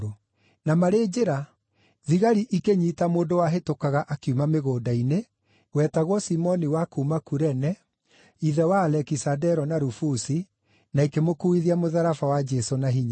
Na marĩ njĩra thigari ikĩnyiita mũndũ wahĩtũkaga akiuma mĩgũnda-inĩ, wetagwo Simoni wa kuuma Kurene, ithe wa Alekisandero na Rufusi, na ikĩmũkuuithia mũtharaba wa Jesũ na hinya.